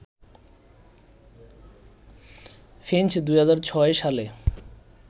Finch ২০০৬ সালে